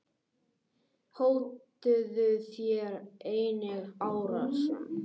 Hótuðu þeir einnig árásum.